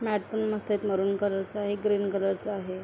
Mat पण मस्त आहे मरुन कलर चा ग्रीन कलर चा आहे.